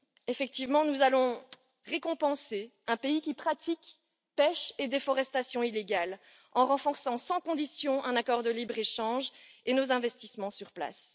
Effectivement, nous allons récompenser un pays qui pratique pêche et déforestation illégales en renforçant sans condition un accord de libre échange et nos investissements sur place.